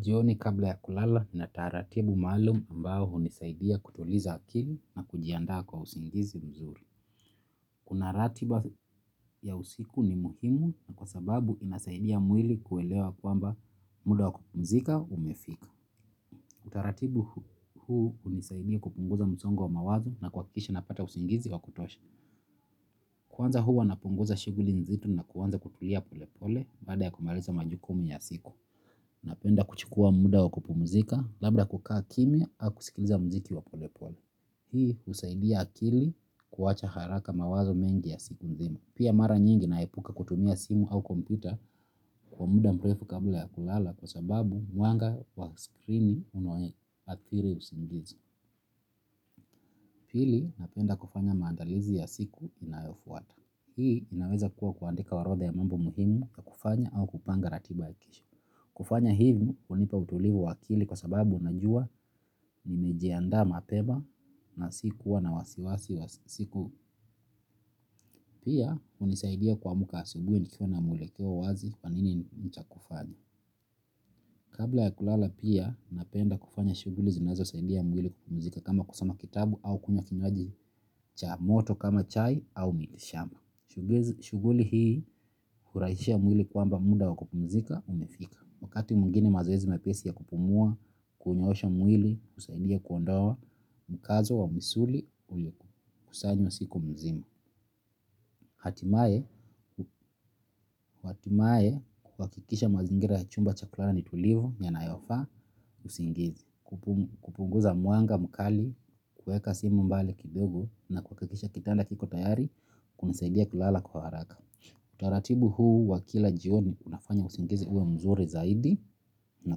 Jioni kabla ya kulala nina taratibu maalum ambao unisaidia kutuliza akili na kujiandaa kwa usingizi mzuri. Kuna ratiba ya usiku ni muhimu sababu inasaidia mwili kuelewa kwamba muda wa kupumzika umefika. Utaratibu huu unisaidia kupunguza msongo wa mawazo na kwakikisha napata usingizi wa kutosha. Kwanza huwa napunguza shughuli nzito na kwanza kutulia pole pole baada ya kumaliza majukumu ya siku. Napenda kuchukua muda wa kupumzika labda kukaa kimya ama kusikiliza mziki wa pole pole. Hii usaidia akili kuwacha haraka mawazo mengi ya siku mzimu. Pia mara nyingi naepuka kutumia simu au kompyuta kwa muda mrefu kabla ya kulala kwa sababu mwanga wa screeni una athiri usingizi. Hili napenda kufanya maandalizi ya siku inayofuata. Hii inaweza kuwa kuandika orodha ya mambo muhimu ya kufanya au kupanga ratiba ya kesho. Kufanya hivyo unipa utulivu wa akili kwa sababu najua nimejiandaa mapema na sikuwa na wasiwasi wa siku pia unisaidia kuamka asubuhi nikiwa na mwelekeo wazi nini cha kufanya. Kabla ya kulala pia napenda kufanya shughuli zinazosaidia mwili kupumzika kama kusoma kitabu au kukunywa kinywaji cha moto kama chai au miti shamba. Shuguli hii hurahisisha mwili kwamba muda wakupumzika umefika. Wakati mwingine mazoezi mepesi ya kupumua, kunyoosha mwili, usaidia kuondoa mkazo wa msuli ulio kusanywa siku mzima. Hatimae kwakikisha mazingira ya chumba chaku lala ni tulivu, nyanayofaa, usingizi. Kupunguza mwanga, mkali, kueka simu mbali kidogo na kwakikisha kitanda kiko tayari, kunisaidia kulala kwa haraka. Utaratibu huu wa kila jioni unafanya usingizi uwe mzuri zaidi na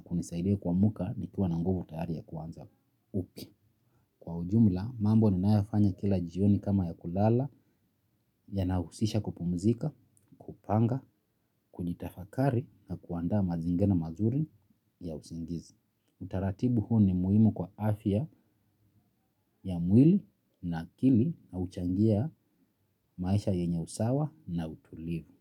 kunisaidia kuamka nikiwa na nguvu tayari ya kuanza upya. Kwa ujumla mambo ninayofanya kila jioni kama ya kulala yanahusisha kupumzika, kupanga, kuyitafakari na kuandaa mazingira mazuri ya usingizi. Utaratibu huu ni muhimu kwa afya ya mwili na akili na uchangia maisha yenye usawa na utulivu.